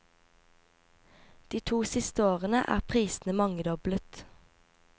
De to siste årene er prisene mangedoblet.